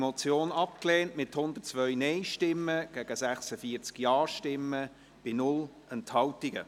Sie haben diese Motion abgelehnt, mit 102 Nein- gegen 46 Ja-Stimmen bei 0 Enthaltungen.